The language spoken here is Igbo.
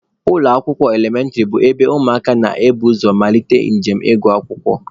Ụlọ akwụkwọ elementịrị bụ ebe ụmụaka na-ebu ụzọ amalite njem ịgụ akwụkwọ